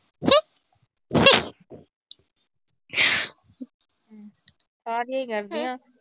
ਆ ਕੀ ਕਰਦੀਆਂ।